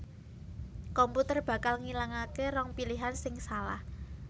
komputer bakal ngilangaké rong pilihan sing salah